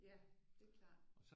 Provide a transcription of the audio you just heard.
Ja det er klart